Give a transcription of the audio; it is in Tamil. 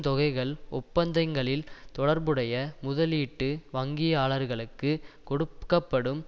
தொகைகள் ஒப்பந்தங்களில் தொடர்புடைய முதலீட்டு வங்கியாளர்களுக்குக் கொடுக்க படும்